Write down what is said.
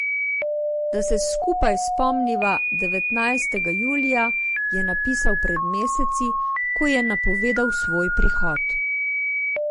Da se skupaj spomniva devetnajstega julija, je napisal pred meseci, ko je napovedal svoj prihod.